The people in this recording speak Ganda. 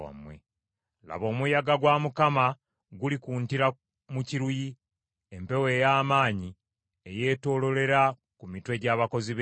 Laba, omuyaga gwa Mukama gulikuntira mu kiruyi, empewo ey’amaanyi eyeetooloolera ku mitwe gy’abakozi b’ebibi.